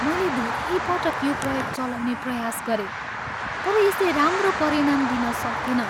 मैले धेरै पटक यो प्रयोग चलाउने प्रयास गरेँ तर यसले राम्रो परिणाम दिन सकेन।